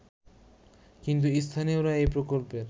কিন্তু স্থানীয়রা এই প্রকল্পের